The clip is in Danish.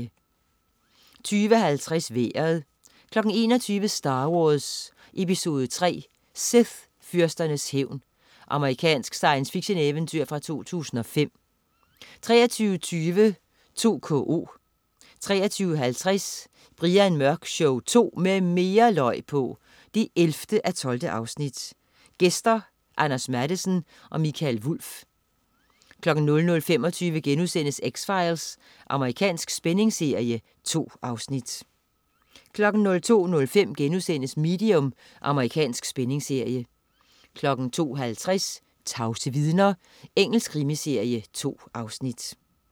20.50 Vejret 21.00 Star Wars: Episode III. Sith-fyrsternes hævn. Amerikansk science fiction-eventyr fra 2005 23.20 2KO 23.50 Brian Mørk Show 2 med mere løg på! 11:12. Gæster: Anders Mattesen og Mikael Wulff 00.25 X-Files.* Amerikansk spændingsserie. 2 afsnit 02.05 Medium.* Amerikansk spændingsserie 02.50 Tavse vidner. Engelsk krimiserie. 2 afsnit